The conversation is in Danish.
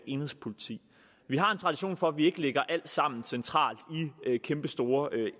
enhedspoliti vi har en tradition for at vi ikke lægger alt sammen centralt i kæmpestore